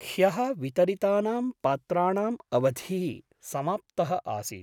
ह्यः वितरितानां पात्राणाम् अवधिः समाप्तः आसीत्।